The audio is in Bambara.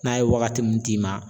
N'a ye wagati min d'i ma